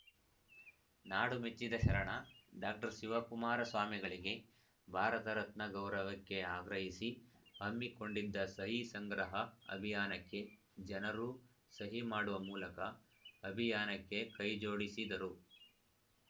ನಾಡು ಮೆಚ್ಚಿದ ಶರಣ ಡಾಕ್ಟರ್ ಶಿವಕುಮಾರ ಸ್ವಾಮಿಗಳಿಗೆ ಭಾರತ ರತ್ನ ಗೌರವಕ್ಕೆ ಆಗ್ರಹಿಸಿ ಹಮ್ಮಿಕೊಂಡಿದ್ದ ಸಹಿ ಸಂಗ್ರಹ ಅಭಿಯಾನಕ್ಕೆ ಜನರೂ ಸಹಿ ಮಾಡುವ ಮೂಲಕ ಅಭಿಯಾನಕ್ಕೆ ಕೈಜೋಡಿಸಿದರು